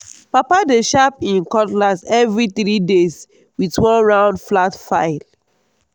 papa dey sharp him cutlass every three three days with one round flat file.